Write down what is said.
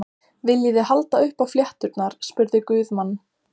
Viljiði halda upp á flétturnar, spurði Guðmann.